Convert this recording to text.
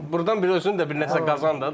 Sən burdan bir özün də bir nəsə qazan da.